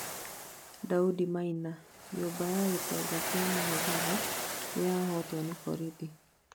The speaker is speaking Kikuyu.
Daudi Maina: nyũmba ya gĩtonga kia mũmbatha niyatahwo nĩ borĩthi